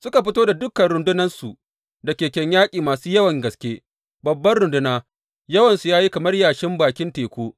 Suka fito da dukan rundunansu da keken yaƙi masu yawan gaske, babbar runduna, yawansu ya yi kamar yashin bakin teku.